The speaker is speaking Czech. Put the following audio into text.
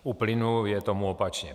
U plynu je tomu opačně.